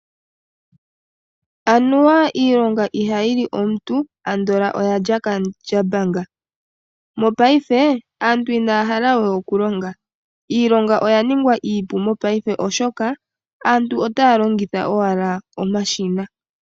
Anuwa iilonga ihayili omuntu ando oyalya Kandjambanga, mopaife aantu inaya halawe okulonga iilonga oya ningwa iipu mopaife oshoka aantu otaya longitha owala omashina.